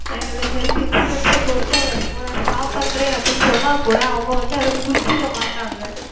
என்னது Health Insurance பொருத்த வரைக்கும் நான் Stop செய்கிறேன் என்று சொன்னால் கூட அவர்கள் வந்து அதை புரிந்து கொள்ள மாட்டார்கள்